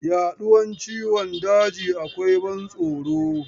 Yaduwar ciwon daji akwai ban tsoro.